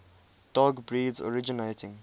dog breeds originating